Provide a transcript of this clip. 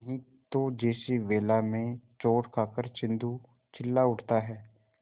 नहीं तो जैसे वेला में चोट खाकर सिंधु चिल्ला उठता है